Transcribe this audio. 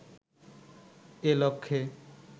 এ লক্ষ্যে